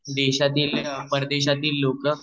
देशातील परदेशातील लोक